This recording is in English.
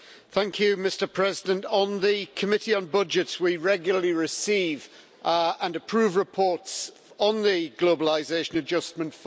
Mr President, in the Committee on Budgets we regularly receive and approve reports on the Globalisation Adjustment Fund.